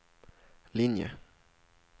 linje